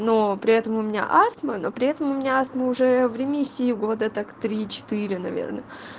но при этом у меня астма но при этом у меня астма уже в ремиссии года так три четыре наверное